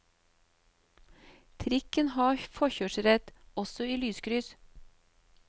Trikken har forkjørsrett, også i lyskryss.